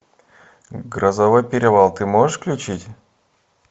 грозовой перевал ты можешь включить